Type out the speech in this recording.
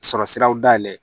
Sɔrɔ siraw dayɛlɛ